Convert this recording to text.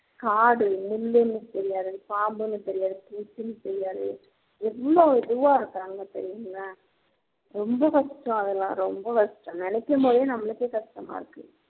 காடு முள்ளுன்னு தெரியாது பாம்புன்னு தெரியாது புச்சின்னு தெரியாது எவ்ளோ இதுவா இருக்காங்க தெரியுங்களா ரொம்ப கஷ்டோம் அதெல்லாம் ரொம்ப கஷ்டோம் நினைக்கும் போதே நம்மளுக்கே கஷ்டமா இருக்கு